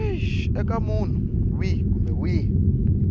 eka munhu wihi kumbe wihi